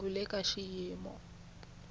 u le ka xiyimo xa